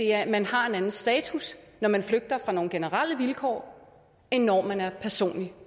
at man har en anden status når man flygter fra nogle generelle vilkår end når man er personligt